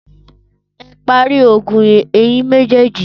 Ẹ parí ogun ẹ̀yin méjèèjì!